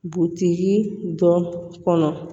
Butigi dɔ kɔnɔ